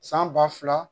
San ba fila